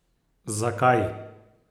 Za kaj?